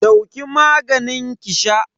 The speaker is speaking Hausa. Dauki maganin ki sha